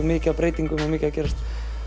mikið af breytingum og mikið að gerast